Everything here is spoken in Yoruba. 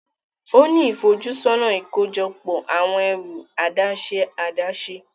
O ni ifojusọna ikojọpọ awọn ẹru adaṣe adaṣe.